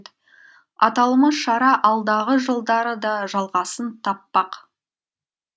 аталмыш шара алдағы жылдары да жалғасын таппақ